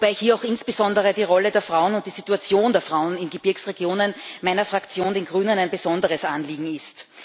Wobei hier auch insbesondere die Rolle der Frauen und die Situation der Frauen in Gebirgsregionen meiner Fraktion, den Grünen, ein besonderes Anliegen ist.